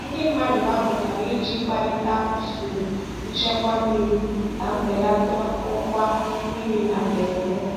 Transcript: Ndị mmadụ gbakọtara iji kparịta usoro nchekwa mmiri ka mbelata ọkwa mmiri na mberede.